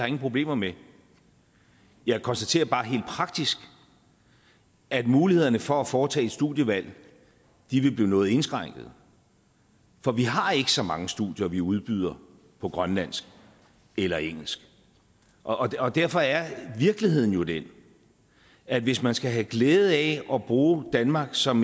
ingen problemer med jeg konstaterer bare helt praktisk at mulighederne for at foretage et studievalg vil blive noget indskrænket for vi har ikke så mange studier vi udbyder på grønlandsk eller engelsk og og derfor er virkeligheden jo den at hvis man skal have glæde af at bruge danmark som